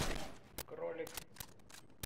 кролик